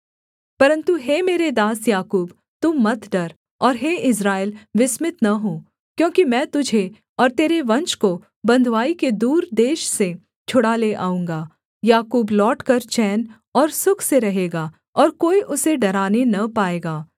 परन्तु हे मेरे दास याकूब तू मत डर और हे इस्राएल विस्मित न हो क्योंकि मैं तुझे और तेरे वंश को बँधुआई के दूर देश से छुड़ा ले आऊँगा याकूब लौटकर चैन और सुख से रहेगा और कोई उसे डराने न पाएगा